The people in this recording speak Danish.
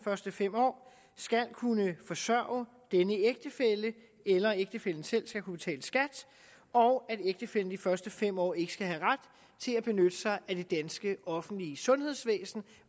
første fem år skal kunne forsørge denne ægtefælle eller at ægtefællen selv skal kunne betale skat og at ægtefællen i de første fem år ikke skal have ret til at benytte sig af det danske offentlige sundhedsvæsen